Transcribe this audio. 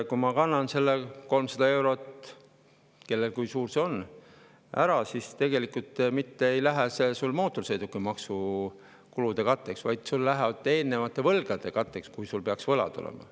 Kui ma kannan selle 300 eurot ära – kellel kui suur see on –, siis tegelikult ei lähe see mitte mootorsõidukimaksu katteks, vaid eelnevate võlgade katteks, kui mul peaks võlad olema.